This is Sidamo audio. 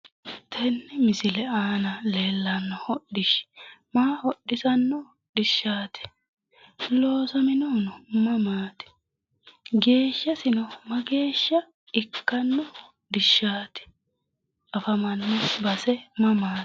Tenne misile aana leelano hodhi'shi maa hodhi'sano hodhi'shati? loosaminohuno mamati? geeshasino mageesha ikkano hodhi'shati? afamano base mamati